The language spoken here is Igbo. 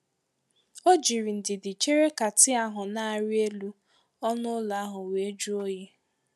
O jiri ndidi chere ka tii ahụ na-arị elu, ọnụ ụlọ ahụ wee juo oyi.